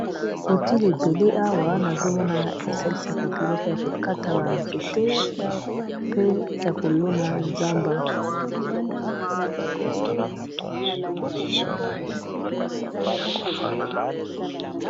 utile ebele awa nazomona esalisaka biloko ya kokata banzete pe ya kolona zamba